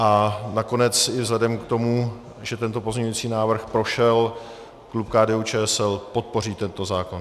A nakonec i vzhledem k tomu, že tento pozměňující návrh prošel, klub KDU-ČSL podpoří tento zákon.